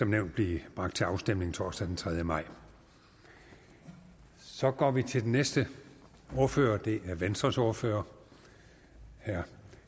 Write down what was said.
nævnt blive bragt til afstemning torsdag den tredje maj så går vi til den næste ordfører og det er venstres ordfører herre